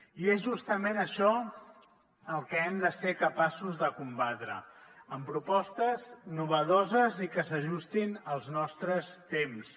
i és justament això el que hem de ser capaços de combatre amb propostes innovadores i que s’ajustin als nostres temps